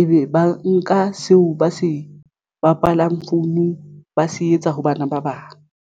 ebe ba nka seo ba se bapalang founung ba se etsa ho bana ba bang.